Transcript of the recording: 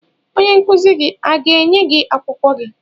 Onye nkuzi gị ọ ga-enye gị akwụkwọ gị?